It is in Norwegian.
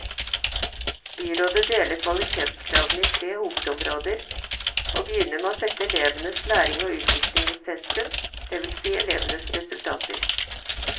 Byrådet deler kvalitetskravene i tre hovedområder, og begynner med å sette elevenes læring og utvikling i sentrum, det vil si elevenes resultater.